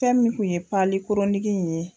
Fɛn mun kun ye pali koroniki in ye